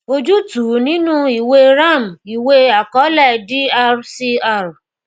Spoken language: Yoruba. ojútùú nínú ìwée ram ìwé àkọọlẹ d-r c-r